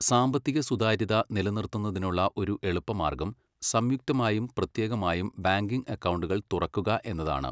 സാമ്പത്തിക സുതാര്യത നിലനിർത്തുന്നതിനുള്ള ഒരു എളുപ്പമാർഗ്ഗം സംയുക്തമായും പ്രത്യേകമായും ബാങ്കിംഗ് അക്കൗണ്ടുകൾ തുറക്കുക എന്നതാണ്.